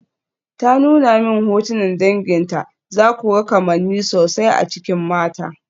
Ta nuna min hotunan danginta, zaku ga kamanni sosai a cikin mata.